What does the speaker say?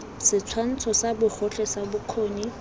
setshwantsho sa bogotlhe sa bokgoni